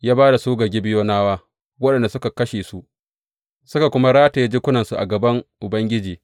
Ya ba da su ga Gibeyonawa, waɗanda suka kashe su, suka kuma rataye jikunansu a gaban Ubangiji.